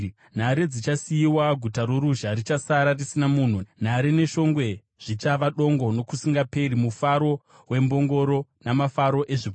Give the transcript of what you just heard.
Nhare dzichasiyiwa, guta roruzha richasara risina munhu; nhare neshongwe zvichava dongo nokusingaperi, mufaro wembongoro, namafuro ezvipfuwo,